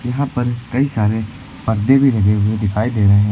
यहां पर कई सारे पर्दे भी लगे हुए दिखाई दे रहे हैं।